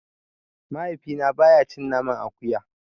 Mahaifina baya cin naman akuya.